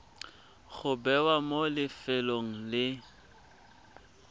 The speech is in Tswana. go bewa mo lefelong le